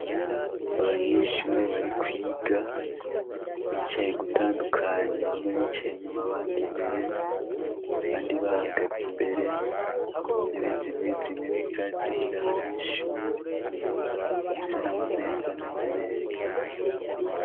Abanyeshure bari kwiga bicaye ugutandukanye bamwe bicaye inyuma bandi imbere, abandi bahagaze imbere, intebe zimwe zimwe ntizari zigira abanyeshure zifise namameza ameze neza .